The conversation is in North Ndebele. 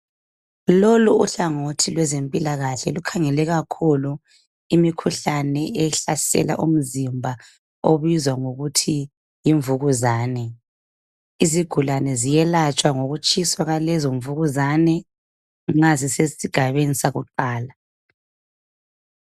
Loku uhlangothi lwezempilakahle lukhangele kakhulu imikhuhlane ehlasela umzimba obizwa ngokuthi yimvukuzane. Izigulane ziyelatshwa ngokutshiswa kwaleyo mvukuzane nxa zisesigabeni sakuqala.